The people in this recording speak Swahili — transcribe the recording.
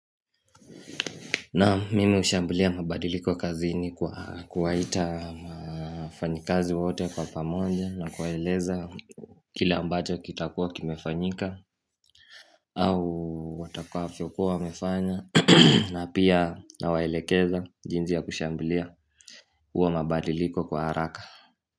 Naam mimi hushambulia mabadiliko kazi kwa kuwaita mafanyikazi wote kwa pamoja na kuwaeleza kila ambacho kitakua kimefanyika au watakua wafia wamefanya na pia nawaelekeza jinsi ya kushambulia huwa mabadiliko kwa haraka.